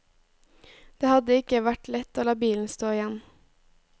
Det hadde ikke vært lett å la bilen stå igjen.